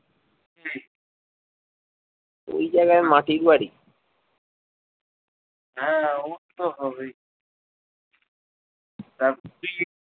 ওই জায়গায় মাটির বাড়ি হ্যাঁ তারপর তুই